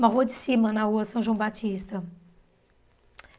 Uma rua de cima, na rua São João Batista.